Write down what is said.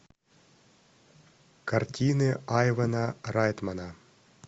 картины айвана райтмана